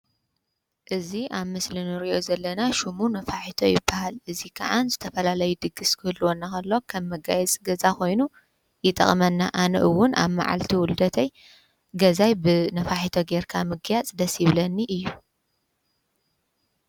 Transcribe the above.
እዝ ኣብ ምስልኒርዮ ዘለና ሹሙ ነፋሒቶ ይበሃል እዙይ ከዓን ዝተፈላለይ ድግሥ ክህልወናኸሎ ከብ መጋየጽ ገዛ ኾይኑ ይጠቕመና ኣነኡውን ኣብ መዓልቲ ውሉደተይ ገዛይ ብ ነፋሒቶ ጌይርካ ምጊያጽ ደሲብለኒ እዩ።